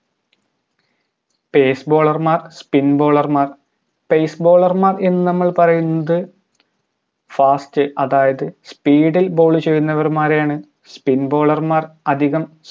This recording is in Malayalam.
pace bowler മാർ spin bowler മാർ pace bowler മാർ എന്ന് നമ്മൾ പറയുന്നത് fast അതായത് speed ഇൽ bowl ചെയ്യുന്നവർ മാരെയാണ് spin bowler മാർ അതികം